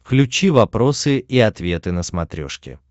включи вопросы и ответы на смотрешке